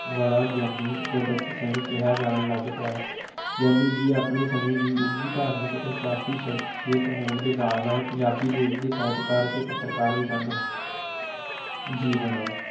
ਵਾਲਾ ਗਿਆਨੀ ਗੁਰਦਿੱਤ ਸਿੰਘ ਕਿਹਾ ਜਾਣ ਲੱਗ ਪਿਆ ਗਿਆਨੀ ਜੀ ਆਪਣੇ ਸਮੇਂ ਦੀ ਉੱਘੀ ਧਾਰਮਿਕ ਅਤੇ ਸਿਆਸੀ ਸ਼ਖ਼ਸੀਅਤ ਹੋਣ ਦੇ ਨਾਲ-ਨਾਲ ਪੰਜਾਬੀ ਦੇ ਉੱਘੇ ਸਾਹਿਤਕਾਰ ਅਤੇ ਪੱਤਰਕਾਰ ਵੀ ਸਨ ਜੀਵਨ